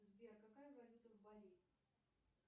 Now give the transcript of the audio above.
сбер какая валюта в бали